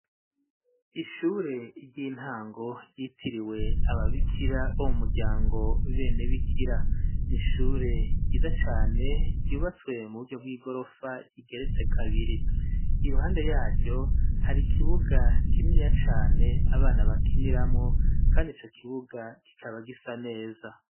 Ishure ry'intango ryitiriwe aba bikira bo mu muryango Bene Bikira. Ni ishure ryiza cane ryubatswe mu buryo bw'igorofa igeretse kabiri. Iruhande yaryo hari kibuga kininiya cane abana bakiniramo kandi ico kibuga kikaba gisa neza.